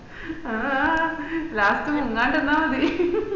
ആഹ് ആഹ് last മുങ്ങാണ്ട് നിന്നാ മത